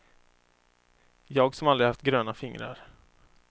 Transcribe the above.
Jag som aldrig haft gröna fingrar.